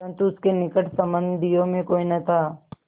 परन्तु उसके निकट संबंधियों में कोई न था